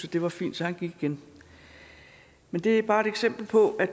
at det var fint så han gik igen det er bare et eksempel på at